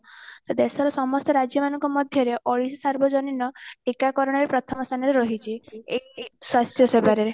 ତ ଦେଶର ସମସ୍ତ ରାଜ୍ୟ ମାନଙ୍କ ମଧ୍ୟରେ ସାର୍ବଜନୀନ ଟୀକା କରଣରେ ପ୍ରଥମ ସ୍ଥାନରେ ରହିଚି ଏ ଏଇ ସ୍ୱାସ୍ଥ୍ୟ ସେବାରେ